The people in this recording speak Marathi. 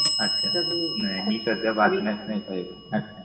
अच्छा नाही. मी सध्या बातम्या च नाही पाहेत